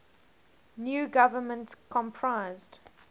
new government comprised